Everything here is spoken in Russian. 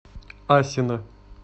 асино